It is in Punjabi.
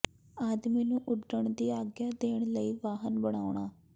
ਆਦਮੀ ਨੂੰ ਉੱਡਣ ਦੀ ਆਗਿਆ ਦੇਣ ਲਈ ਵਾਹਨ ਬਣਾਉਣਾ